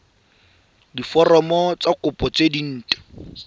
diforomo tsa kopo tse dint